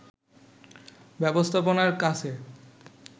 ব্যবস্থাপনার কাছে